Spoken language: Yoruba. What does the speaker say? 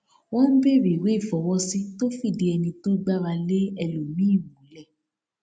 wọn ń bèrè ìwé ìfọwọsí tó fìdí ẹni tó gbára lé ẹlòmíì múlẹ